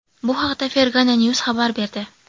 Bu haqda Fergana News xabar berdi .